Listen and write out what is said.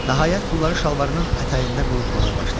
Nəhayət, pulları şalvarının ətəyində qurutmağa başladı.